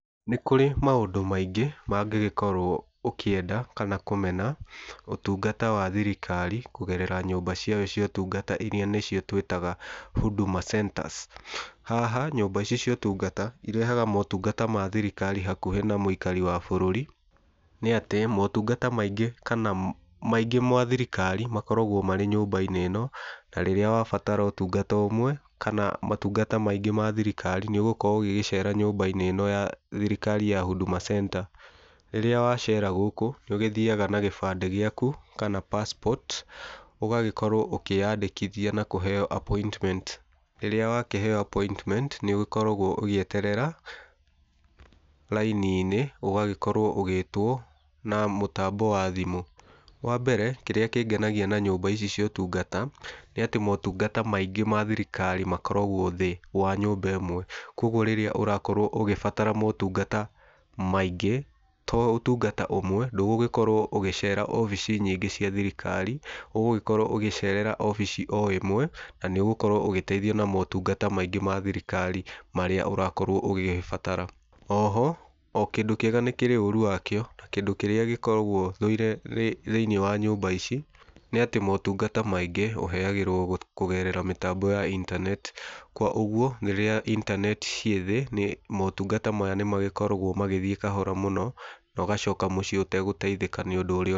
Nĩ kũrĩ maũndũ maingĩ mangĩgĩkorwo ũkĩenda kana kũmena, ũtungata wa thirikari kũgerera nyũmba ciao cia ũtungata iria nĩcio tũitaga Huduma centers. Haha nyũmba icio cia ũtungata irehaga motungata ma thirikari hakuhĩ na mũikari wa bũrũri. Nĩ atĩ motungata maingĩ kana maingĩ ma thirikari makoragwo marĩ nyũmba-inĩ ĩno, na rĩrĩa wabatara ũtungata ũmwe kana motungata maingĩ ma thirikari nĩũgũkorwo ũgĩgĩcera nyũmba-inĩ ĩno ya thirikari ya Huduma center. Rĩrĩa wacera gũkũ nĩ ũgĩthiaga na gĩbandĩ gĩaku kana passport ũgagĩkorwo ũkĩyandĩkithia na kũheo appointment. Rĩrĩa wakĩheo appointment nĩ ũgĩkoragwo ũgĩeterera raini-inĩ ũgagĩkorwo ũgĩtwo na mũtambo wa thimũ. Wa mbere kĩrĩa kĩngenagia na nyũmba ici cia ũtungata, nĩ atĩ motungata maingĩ ma thirikari makoragwo thĩĩ wa nyũmba ĩmwe kwa ũguo rĩrĩa ũrakorwo ũgĩbatara motungata maingĩ to ũtungata ũmwe ndũgũgĩkorwo ũgĩcera obici nyingĩ cia thirikari ũgũgĩkorwo ũgĩcerera obici o ĩmwe na nĩ ũgũkorwo ũgĩteithio na motungata maingĩ ma thirikari marĩa ũrakorwo ũgĩgĩbatara. Oho o kĩndũ kĩega nĩ kĩrĩ ũru wakĩo na kĩndũ kĩrĩa gĩkoragwo thũire thĩiniĩ wa nyũmba ici nĩ atĩ motungata maingĩ ũheagĩrwo kũgerera mitambo ya internet. Kwa ũguo rĩrĩa internet cĩĩ thĩĩ motungata maya nĩ magĩkoragwo magĩthiĩ kahora mũno na ũgacoka mũcĩe ũtagũteithĩka nĩ ũndũ ũrĩa ũkwendaga.